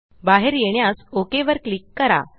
बाहेर येण्यास ओक वर क्लिक करा